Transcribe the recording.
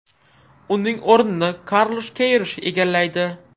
Uning o‘rnini Karlush Keyrush egallaydi.